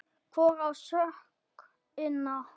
Hvor á sökina?